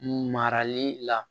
Marali la